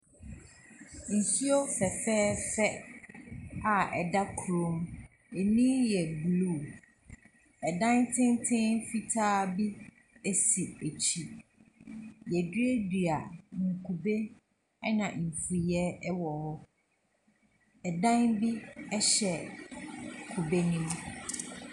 Nsuo fɛfɛɛfɛ a ɛda kurom. Ani yɛ blue. Ɛdan tenten fitaa bi si akyire. Wɔaduadua nkube ɛna mfuiɛ wɔ hɔ. Ɛdan bi hyɛ kube no mu.